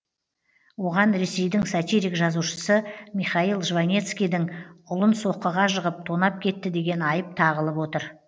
оған ресейдің сатирик жазушысы михаил жванецкийдің ұлын соққыға жығып тонап кетті деген айып тағылып отыр